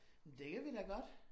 Det kan vi da godt